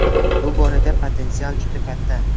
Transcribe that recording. Bu borada potensial juda katta.